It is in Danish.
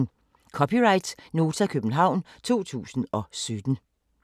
(c) Nota, København 2017